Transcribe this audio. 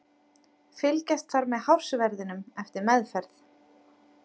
Fylgjast þarf með hársverðinum eftir meðferð.